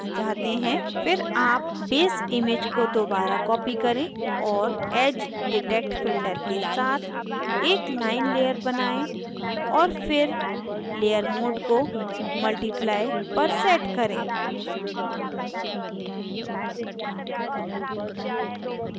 फिर आप base image को दोबारा copy करें और edge detect filter के साथ एक line layer बनायें और फिर layer mode को multiply पर set करें